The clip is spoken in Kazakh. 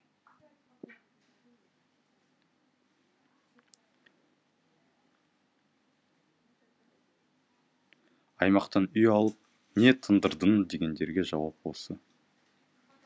аймақтан үй алып не тындырдың дегендерге жауап осы